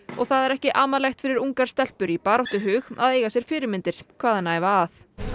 það er ekki amalegt fyrir ungar stelpur í baráttuhug að eiga sér fyrirmyndir hvaðanæva að